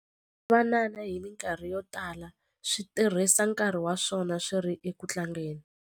Swivanana hi mikarhi yo tala swi tirhisa nkarhi wa swona swi ri eku tlangeni.